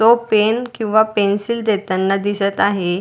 तो पेन किंवा पेन्सिल देताना दिसत आहे.